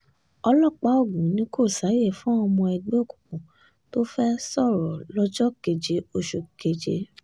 ọlọ́pàá ogun ni kò sáàyè fáwọn ọmọ ẹgbẹ́ òkùnkùn tó fẹ́ẹ́ sọ̀rọ̀ lọ́jọ́ keje oṣù keje